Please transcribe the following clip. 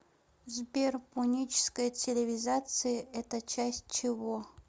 сбер пуническая цивилизация это часть чего